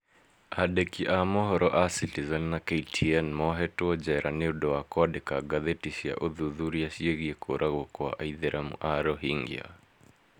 Andĩki a mohoro a Citizen na KTN mohetwo njera nĩ ũndũ wa kwandĩka ngathĩti cia ũthuthuria ciĩgiĩ kũũragwo kwa Aithĩramu a Rohingya